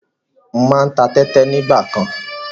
Mo máa ń ta tẹ́tẹ nígbàkan.